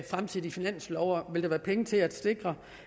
fremtidige finanslove og vil være penge til at sikre